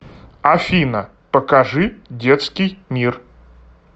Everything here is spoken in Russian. афина покажи детский мир